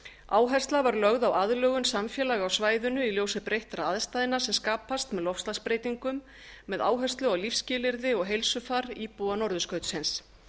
áhersla var lögð á aðlögun samfélaga á svæðinu í ljósi breyttra aðstæðna sem skapast með loftslagsbreytingar um með áherslu á lífsskilyrði og heilsufar íbúa norðurskautsins